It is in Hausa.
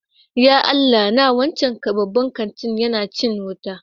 Ya Allah na! Wancan babban kanti yana cin wuta.